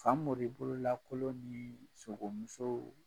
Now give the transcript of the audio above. Sanmori bolo lakolon ni sogo muso